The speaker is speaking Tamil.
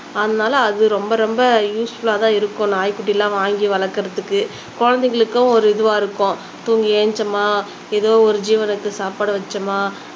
அதுனால அது ரொம்ப ரொம்ப யூஸ்ஃபுல்லா தான் இருக்கும் நாய்குட்டி எல்லாம் வாங்கி வளர்க்கிறதுக்கு குழந்தைகளுக்கும் ஒரு இதுவா இருக்கும் தூங்கி எழுந்திரிச்சோமா ஏதோ ஒரு ஜீவனுக்கு சாப்பாடு வச்சோமா